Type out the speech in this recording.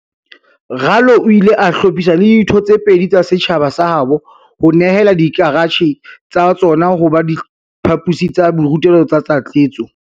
Ralo o ile a hlophisa le ditho tse pedi tsa setjhaba sa habo ho nehela dikaratjhe tsa tsona ho ba diphaposi tsa borutelo tsa tlatsetso.